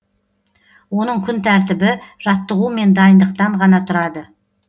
оның күн тәртібі жаттығу мен дайындықтан ғана тұрады